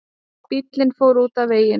Bíllinn fór út af veginum